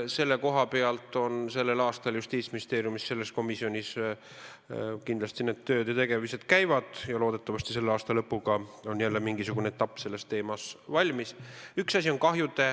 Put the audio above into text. Selles valdkonnas on sel aastal Justiitsministeeriumi vastavas komisjonis kindlasti tööd ja tegemised juba käimas ning loodetavasti on aasta lõpuks mingisugune etapp selles teemas jälle läbitud.